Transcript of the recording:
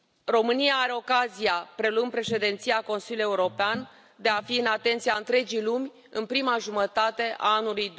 România are ocazia, preluând Președinția Consiliului European, de a fi în atenția întregii lumi în prima jumătate a anului